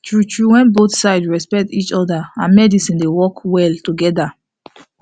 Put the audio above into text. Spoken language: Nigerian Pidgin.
true true wen both sides respect each other prayer and medicine dey work well together